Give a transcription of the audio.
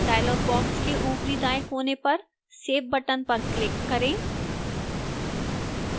dialog box के ऊपरी दाएं कोने पर save button पर click करें